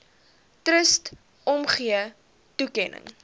trust omgee toekenning